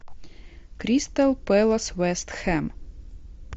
кристал пэлас вест хэм